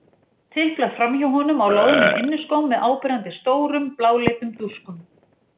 Tiplar framhjá honum á loðnum inniskóm með áberandi stórum, bláleitum dúskum.